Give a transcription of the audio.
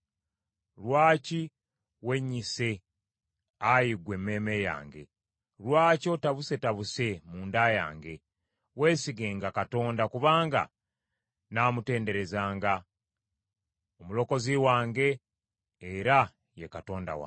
Lwaki wennyise Ayi ggwe emmeeme yange? Lwaki otabusetabuse mu nda yange? Weesigenga Katonda, kubanga nnaamutenderezanga, Omulokozi wange era ye Katonda wange.